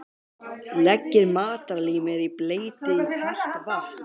Leggið matarlímið í bleyti í kalt vatn.